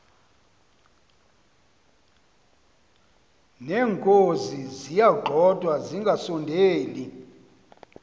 neenkozi ziyagxothwa zingasondeli